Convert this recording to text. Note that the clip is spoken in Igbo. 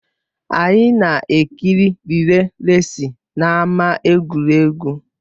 Anyị na-ekiri rịlè resị n'ámá egwuregwu